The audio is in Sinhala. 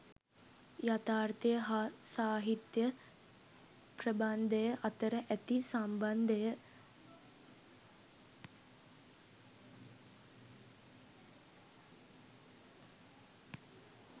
යථාර්ථය හා සාහිත්‍ය ප්‍රබන්ධය අතර ඇති සම්බන්ධය